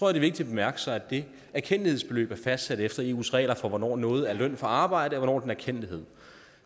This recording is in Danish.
er vigtigt at bemærke sig at det erkendtlighedsbeløb er fastsat efter eus regler for hvornår noget er løn for arbejde og hvornår en erkendtlighed